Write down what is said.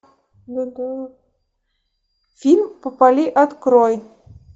фильм попали открой